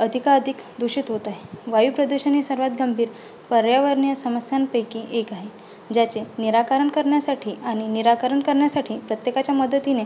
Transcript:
अधिकाधिक दुषित होत आहे. वायुप्रदूषण हे सर्वांत गंभीर पर्यावरणीय समस्यांपैकी एक आहे, ज्याचे निराकरण करण्यासाठी आणि निराकरण करण्यासाठी प्रत्येकाच्या मदतीने